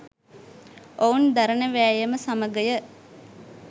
ඔවුන් දරන වෑයම සමගය